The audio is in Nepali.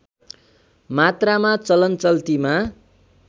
मात्रामा चलनचल्तीमा